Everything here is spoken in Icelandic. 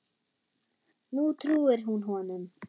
Nú trúir hún honum.